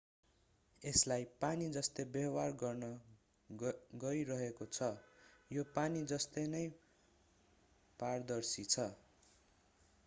यसलाई पानी जस्तै व्यवहार गर्न गइरहेको छ यो पानी जस्तै नै पारदर्शी छ